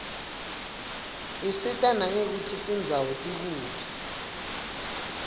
isita nangekutsi tindzawo tikuphi